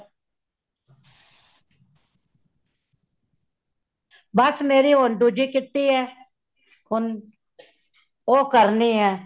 ਬੱਸ ਮੇਰੀ ਹੋਣ ਦੂਜੀ kitty ਹੇ , ਹੋਣ ਉਹ ਕਰਨੀ ਹੇ।